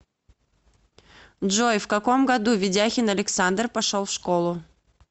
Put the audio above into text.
джой в каком году ведяхин александр пошел в школу